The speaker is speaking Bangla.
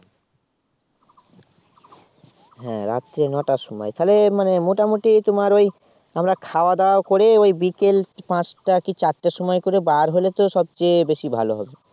হ্যাঁ রাত্রে নটার সময় তাহলে মানে মোটামুটি তোমার ওই আমরা খাওয়া-দাওয়া করে ওই বিকেল পাঁচটা কি চারটার সময় করে বার হলে তো সবচেয়ে বেশি ভালো হবে।